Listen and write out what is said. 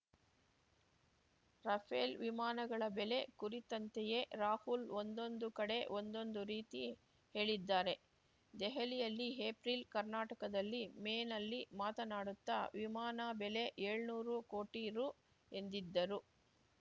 Rafale ವಿಮಾನಗಳ ಬೆಲೆ ಕುರಿತಂತೆಯೇ ರಾಹುಲ್‌ ಒಂದೊಂದು ಕಡೆ ಒಂದೊಂದು ರೀತಿ ಹೇಳಿದ್ದಾರೆ ದೆಹಲಿಯಲ್ಲಿ ಏಪ್ರಿಲ್‌ ಕರ್ನಾಟಕದಲ್ಲಿ ಮೇನಲ್ಲಿ ಮಾತನಾಡುತ್ತಾ ವಿಮಾನ ಬೆಲೆ ಏಳ್ನೂರು ಕೋಟಿ ರು ಎಂದಿದ್ದರು